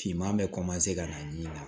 Finman bɛ ka na ni na